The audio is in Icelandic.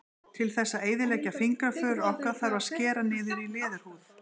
Til þess að eyðileggja fingraför okkar þarf að skera niður í leðurhúð.